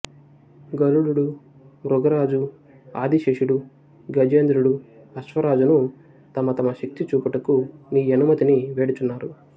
గరుడుడు మృగరాజు ఆదిశేషుడు గజేంద్రుడు అశ్వరాజును తమ తమ శక్తిని చూపుటకు నీ యనుమతిని వేడుచున్నారు